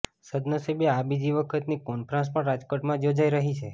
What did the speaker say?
સદ્દનસીબે આ બીજી વખતની કોન્ફરન્સ પણ રાજકોટમાં જ યોજાઈ રહી છે